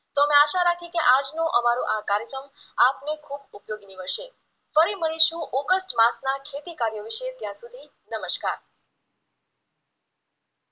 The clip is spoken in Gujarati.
આજનો અમારો આ કાર્યક્રમ આપને ખૂબ ઉપયોગી નીવડશે ફરી મળીશું ઓગસ્ટ માસના ખેતીકાર્યો વિશે, ત્યાં સુધી નમસ્કાર